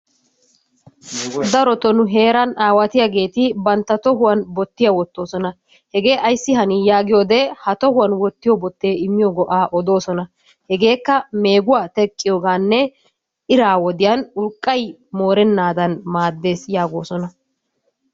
Darotoo nu heeran aawatiyageeti bantta tohuwan bottiya wottoosona. Hege ayssi hani yaagiyoodee ha tohuwan wottiyo bottee immiyo go'aa odoosona. Hegeekka meeguwa teqqiyoogaanne iraa wodiyan urqqay moorennaadan maaddes yaagoosona.